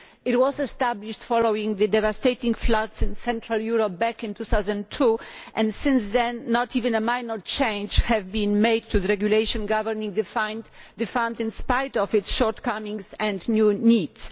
It was established following the devastating floods in Central Europe back in 2002, and since then not even minor changes have been made to the regulation governing the Fund, in spite of its shortcomings and new needs.